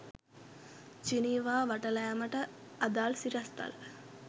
Geneva වටලෑමට අදාළ සිරස්තල